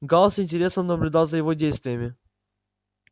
гаал с интересом наблюдал за его действиями